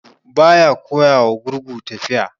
Gurgu ba ya koya wa gurgu tafiya.